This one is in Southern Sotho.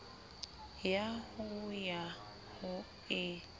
ya ho ya ho e